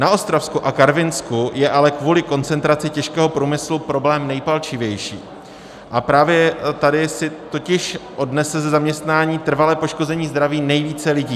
Na Ostravsku a Karvinsku je ale kvůli koncentraci těžkého průmyslu problém nejpalčivější a právě tady si totiž odnese ze zaměstnání trvalé poškození zdraví nejvíce lidí.